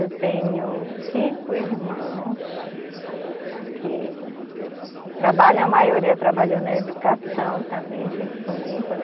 Eu tenho cinco irmãos que trabalham, a maioria trabalhou na educação também junto comigo, né.